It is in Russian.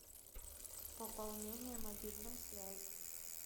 пополнение мобильной связи